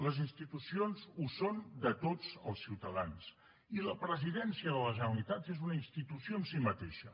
les institucions ho són de tots els ciutadans i la presidència de la generalitat és una institució en si mateixa